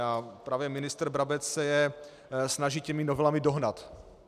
A právě ministr Brabec se je snaží těmi novelami dohnat.